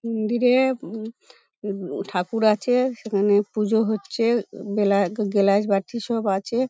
মন্দিরে-এ উম -উম ঠাকুর আছে সেখানে পুজো হচ্ছে বেলা গ্লাস বাটি সব আছে-এ ।